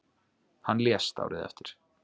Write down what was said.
Hann lést árið eftir.